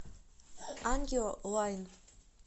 ангио лайн